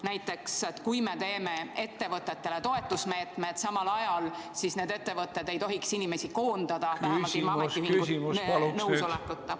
Näiteks, kui me teeme samal ajal ettevõtetele toetusmeetmed, siis need ettevõtted ei tohiks inimesi koondada, vähemalt mitte ilma ametiühingute nõusolekuta.